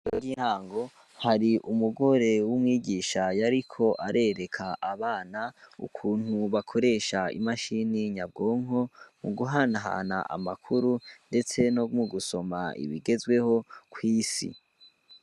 Ro ryihango hari umugore w'umwigishayo, ariko arereka abana ukuntu bakoresha imashini nyabwonko mu guhanhana amakuru, ndetse no mu gusoma ibigezweho kw'isi.